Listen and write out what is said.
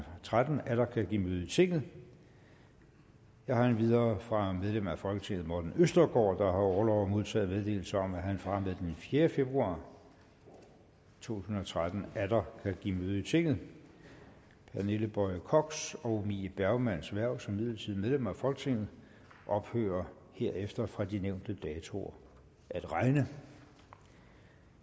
tretten atter kan give møde i tinget jeg har endvidere fra medlem af folketinget morten østergaard orlov modtaget meddelelse om at han fra og med den fjerde februar to tusind og tretten atter kan give møde i tinget pernille boye kochs og mie bergmanns hverv som midlertidige medlemmer af folketinget ophører herefter fra de nævnte datoer at regne